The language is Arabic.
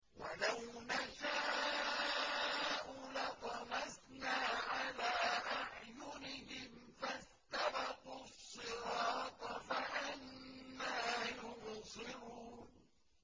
وَلَوْ نَشَاءُ لَطَمَسْنَا عَلَىٰ أَعْيُنِهِمْ فَاسْتَبَقُوا الصِّرَاطَ فَأَنَّىٰ يُبْصِرُونَ